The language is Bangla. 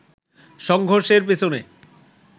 সংঘর্ষের পেছনে